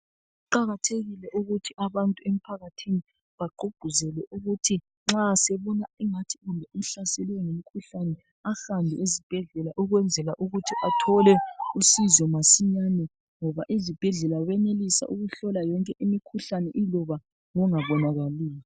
Kuqakathekile ukuthi abantu emphakathini bagqugquzele ukuthi nxa sebona ingathi kumbe uhlaselwe ngumkhuhlane ahambe esibhedlela ukwenzela ukuthi athole usizo masinyane ngoba ezibhedlela bayenelisa ukuhlola yonke imikhuhlane iloba ngongabonakaliyo.